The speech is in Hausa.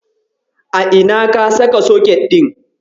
A ina ka saka soket ɗin?